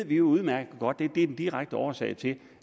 ved udmærket godt at det er den direkte årsag til